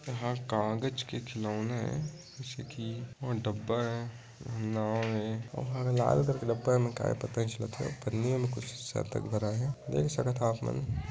यहाँ कागज के खिलौने ये जैसे की वो डब्बा ये नव ये लाल कलर का डब्बा का ये पता नई चलत हे पन्नियों में कुछ शायद तक भराए हेदेख भी सकत ह आप मन--